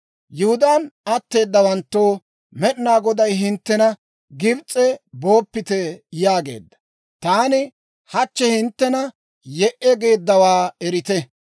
«Yihudaan atteedawanttoo, Med'inaa Goday hinttena, ‹Gibs'e booppite!› yaageedda. Taani hachchi hinttena, ‹Ye"e!› geeddawaa erite.